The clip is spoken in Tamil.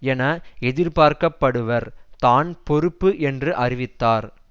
என எதிர்பார்க்கப்படுபவர் தான் பொறுப்பு என்று அறிவித்தார்